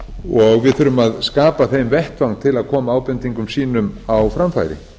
og við þurfum að skapa þeim vettvang til að koma ábendingum sínum á framfæri